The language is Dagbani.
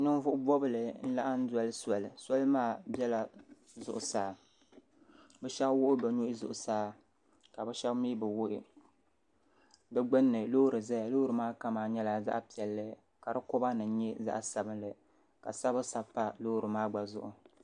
Ninvuɣu bɔbigu n laɣim doli soli soli maa bɛla zuɣusaa bi shɛba wuɣi bi nuhi zuɣusaa ka bi shɛba mi bi wuɣi bi gbinni loori zaya loori maa kama nyɛla zaɣi piɛlli ka di koba nim nyɛ zaɣi sabinli ka sabibu sabi pa loori maa gba zuɣu.